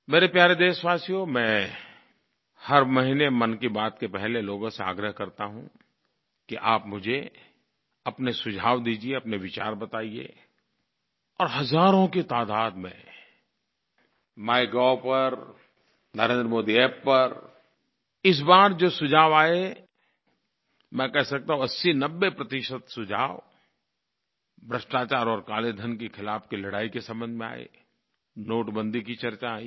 मेरे प्यारे देशवासियो मैं हर महीने मन की बात के पहले लोगों से आग्रह करता हूँ कि आप मुझे अपने सुझाव दीजिये अपने विचार बताइए और हज़ारों की तादाद में माइगोव पर और NarendraModiApp पर इस बार जो सुझाव आये मैं कह सकता हूँ 8090 प्रतिशत सुझाव भ्रष्टाचार और काले धन के ख़िलाफ़ की लड़ाई के संबंध में आये नोटबंदी की चर्चा आयी